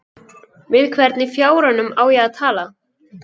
Við hvern í fjáranum á ég að tala?